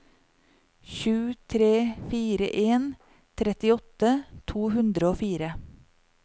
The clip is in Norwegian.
sju tre fire en trettiåtte to hundre og fire